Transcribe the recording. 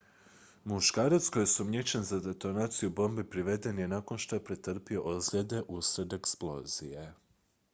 muškarac koji je osumnjičen za detonaciju bombe priveden je nakon što je pretrpio ozljede uslijed eksplozije